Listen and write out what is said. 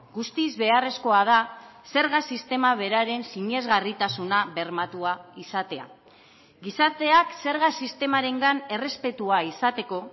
guztiz beharrezkoa da zerga sistema beraren sinesgarritasuna bermatua izatea gizarteak zerga sistemarengan errespetua izateko